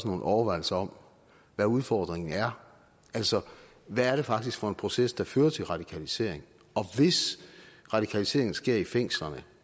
nogle overvejelser om hvad udfordringen er altså hvad det faktisk er for en proces der fører til radikalisering og hvis radikaliseringen sker i fængslerne